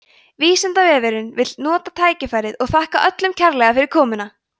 vísindavefurinn vill nota tækifærið og þakka öllum kærlega fyrir komuna!